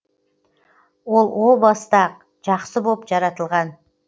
ол о баста ақ жақсы боп жаратылған